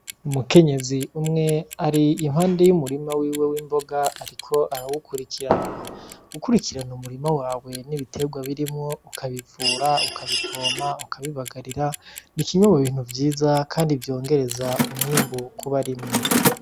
Umukenyezi umwe ari iruhande y'umurima wiwe w'imboga, ariko arawukurikirana gukurikirana umurima wawe n'ibitegwa birimwo ukabivura ukabipompa ukabibagarira ni kimwe mu bintu vyiza kandi vyongereza umwimbu ku barimyi.